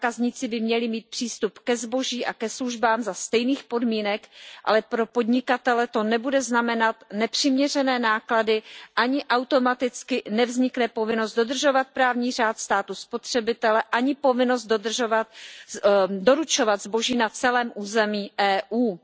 Zákazníci by měli mít přístup ke zboží a ke službám za stejných podmínek, ale pro podnikatele to nebude znamenat nepřiměřené náklady a ani automaticky nevznikne povinnost dodržovat právní řád státu spotřebitele, ani povinnost doručovat zboží na celém území EU.